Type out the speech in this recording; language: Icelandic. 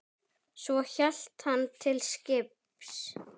Svo hélt hann til skips.